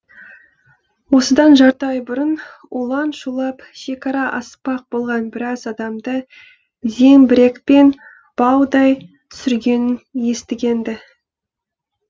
осыдан жарты ай бұрын улан шулап шекара аспақ болған біраз адамды зеңбірекпен баудай түсіргенін естіген ді